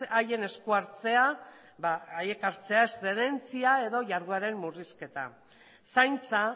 haien esku hartzea haiek hartzea eszedentzia edo jardueren murrizketa zaintza